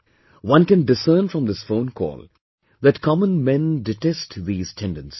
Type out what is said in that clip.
One can discern from this phone call that common men detest these tendencies